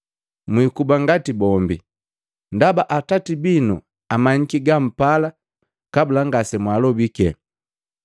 Mwikuba ngati bombi, ndaba Atati binu amamyiki gampala kabula ngasemwalobiki.